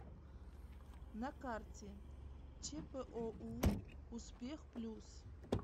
на карте чпоу успех плюс